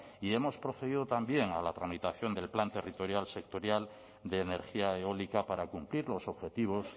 y hemos procedido a la tramitación del plan territorial sectorial de energía eólica para cumplir los objetivos